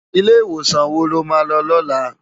Ilé Iwósan wó ló má lò lòlá?